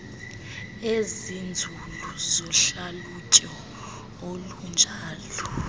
ezinzulu zohlalutyo olunjalo